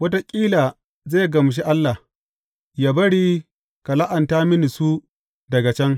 Wataƙila zai gamshi Allah, yă bari ka la’anta mini su daga can.